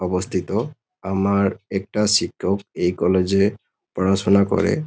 অবস্থিত। আমার একটা শিক্ষক এই কলেজ -এ পড়াশুনা করে --